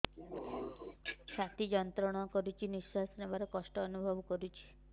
ଛାତି ଯନ୍ତ୍ରଣା କରୁଛି ନିଶ୍ୱାସ ନେବାରେ କଷ୍ଟ ଅନୁଭବ କରୁଛି